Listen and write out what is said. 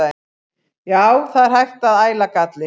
Já, það er hægt að æla galli.